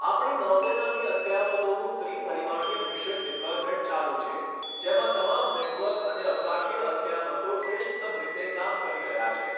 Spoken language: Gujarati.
આપણી નૌસેનાની અસ્કયામતોનું ત્રી પરિમાણીય મિશન ડિપ્લોયમેન્ટ ચાલુ છે જેમાં તમામ નેટવર્ક અને અવકાશીય અસ્કયામતો શ્રેષ્ઠત્તમ રીતે કામ કરી રહ્યા છે.